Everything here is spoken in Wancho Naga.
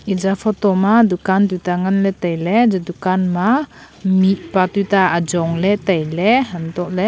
eja photo ma dukan tuta ngan ley tailey eje dukan ma mihpa toita ajong ley tailey antohley--